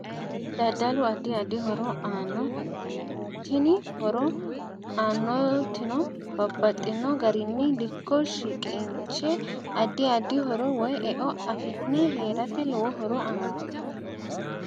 Daddalu addi addi horo aanno. Tini horo aanotino babbaxino garinni dikko shiqinshe addi addi horo woyi e'o afi'ne heerate lowo horo aanno